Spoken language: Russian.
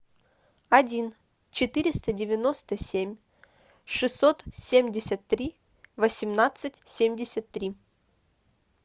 один четыреста девяносто семь шестьсот семьдесят три восемнадцать семьдесят три